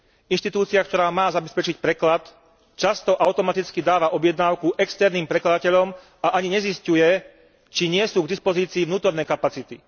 Inštitúcia, ktorá má zabezpečiť preklad, často automaticky dáva objednávku externým prekladateľom a ani nezisťuje, či nie sú k dispozícii vnútorné kapacity.